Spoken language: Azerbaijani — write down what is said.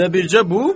Elə bircə bu?